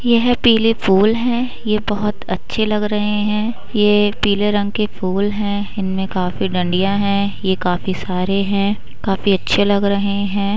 यह पीले फूल हैं । ये बोहत अच्छे लग रहे हैं । ये पीले रंग के फूल हैं इनमें काफी डंडिया हैं। ये काफी सारे हैं। काफी अच्छे लग रहे हैं।